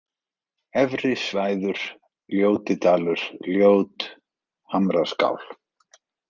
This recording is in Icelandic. Efrisvæður, Ljótidalur, Ljót, Hamraskál